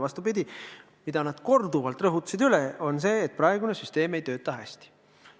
Vastupidi, nad korduvalt rõhutasid, et praegune süsteem ei tööta hästi.